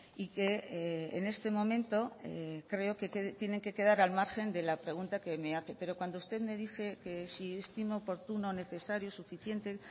y que en este momento creo que tienen que quedar al margen de la pregunta que me hace pero cuando usted me dice que si estimo oportuno necesario suficiente